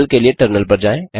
हल के लिए टर्मिनल पर जाएँ